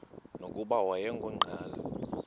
nokuba wayengu nqal